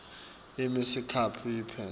ime sikhashanyana iphindze